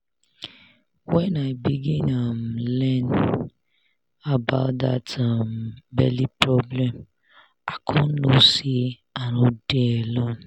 when i begin um learn about that um belle problem i come know say i no dey alone